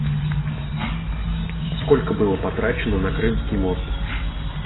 сколько было потрачено на крымский мост